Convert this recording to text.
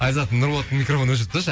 айзат нұрболаттың микрафонын өшіріп тасташы